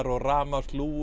og